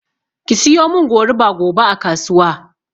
Ki siyomin goruba gobe a kasuwa